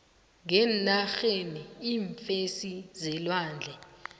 ngenarheni iimfesi zelwandle